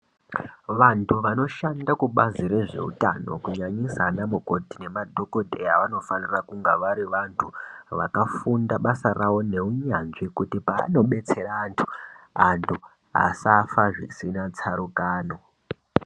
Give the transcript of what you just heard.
Antu vanoshanda kubazi rezveutano kunyanyisa ana mukotti nemadhokodheya vanofanira kunga vari vantu vakafunda basa rawo neunyanzvi kuti paanodetsera antu antu asafa zvisina tsarukano.